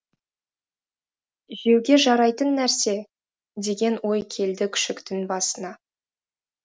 жеуге жарайтын нәрсе деген ой келді күшіктің басына